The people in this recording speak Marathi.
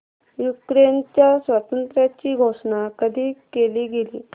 युक्रेनच्या स्वातंत्र्याची घोषणा कधी केली गेली